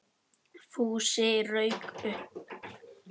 Fúsi rauk upp.